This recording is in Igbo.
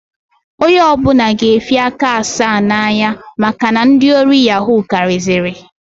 Onye ọbụna ga efi aka asaa na-anya maka na ndị ori yahuu kariziri.